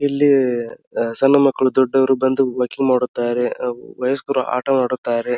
ಇಲ್ಲಿ ಸಣ್ಣ ಮಕ್ಕಳು ದೊಡ್ಡವರು ಬಂದು ವಾಕಿಂಗ್ ಮಾಡುತ್ತಾರೆ ವಯಸ್ಕರು ಆಟ ಆಡುತ್ತಾರೆ.